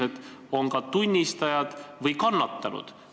Sellised inimesed on ka tunnistajad või kannatanud.